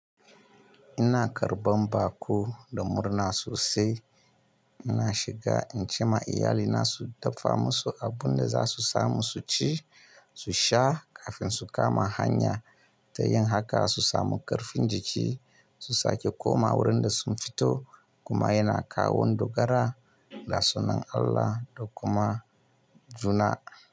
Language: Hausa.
Ina karɓan baƙo da murna sosai, ina shiga in ce ma iyalina su dafa musu abun da za su samu su ci, su sha kafin su kama hanya. Ta yin haka su samu ƙarfin jiki su sake koma wurin da sun fito. Kuma yana kawo dogara ga sunan Allah da kuma juna.